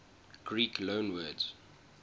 greek loanwords